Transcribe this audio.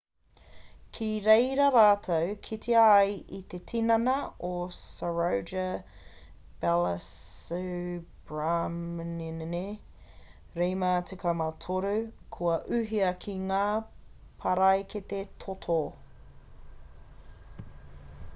ki rēira rātou kite ai i te tinana o saroja balasubramanian 53 kua uhia ki ngā paraikete toto